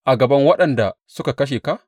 a gaban waɗanda suka kashe ka?